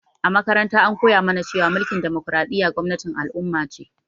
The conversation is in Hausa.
A makaranta an koya mu na cewa mulkin damokaraɗiya gwamnatin al'umma ce